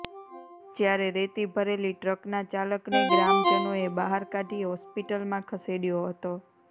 જ્યારે રેતી ભરેલી ટ્રકના ચાલકને ગ્રામજનોએ બહાર કાઢી હોસ્પિટલમાં ખસેડયો હતો